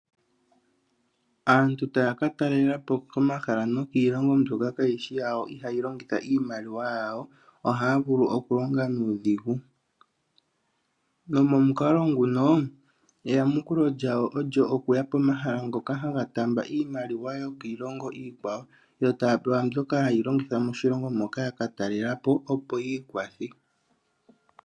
Aantu taya ka talelapo komahala nokiilongo mbyoka kaayishi yawo ihaayi longitha iimaliwa yawo ohaavulu oku longa nuudhigu, nomomukalo munoo eyamukulo lyawo olyo okuya pomahala mpoka hapu taambwa iimaliwa yokiilono iikwawo yo taapewa mbyoka hayi longithwa mishilongo moka yakatalelapo opo yiikwathe.